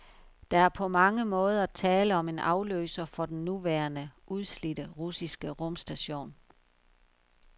Der er på mange måder tale om en afløser for den nuværende, udslidte russiske rumstation.